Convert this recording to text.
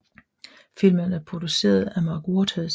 Filmen er produceret af Mark Waters